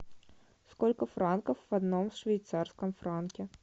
сколько франков в одном швейцарском франке